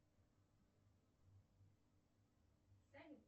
салют